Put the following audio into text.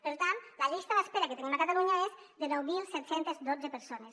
per tant la llista d’espera que tenim a catalunya és de nou mil set cents i dotze persones